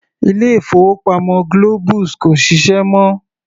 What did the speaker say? Ilé-ìfowópamọ́ Globus kò ṣiṣẹ́ mọ́.